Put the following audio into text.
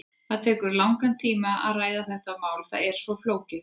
Það tekur langan tíma að ræða þetta mál, það er svo flókið.